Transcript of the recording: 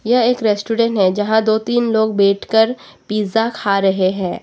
यह एक रेस्टोरेंट है यहां दो तीन लोग बैठकर पिज्जा खा रहे हैं।